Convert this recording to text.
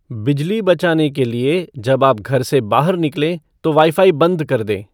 बिजली बचाने के लिए जब आप घर से बाहर निकलें तो वाईफ़ाई बंद कर दें